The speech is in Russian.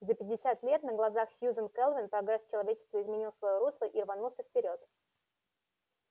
за пятьдесят лет на глазах сьюзен кэлвин прогресс человечества изменил своё русло и рванулся вперёд